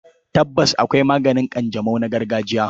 Tabbas, akwai maganin ƙanjamau na gargajiya.